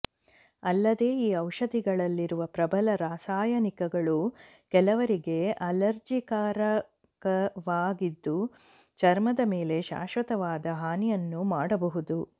ಅಲ್ಲದೇ ಈ ಔಷಧಿಗಳಲ್ಲಿರುವ ಪ್ರಬಲ ರಾಸಾಯನಿಕಗಳು ಕೆಲವರಿಗೆ ಅಲರ್ಜಿಕಾರಕವಾಗಿದ್ದು ಚರ್ಮದ ಮೇಲೆ ಶಾಶ್ವತವಾದ ಹಾನಿಯನ್ನೂ ಮಾಡಬಹುದು